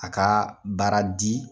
A kaa baara di